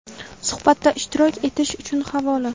Suhbatda ishtirok etish uchun havola.